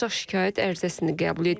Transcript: Ancaq şikayət ərizəsini qəbul edib.